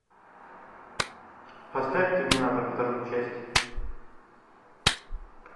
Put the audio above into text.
поставь терминатор вторую часть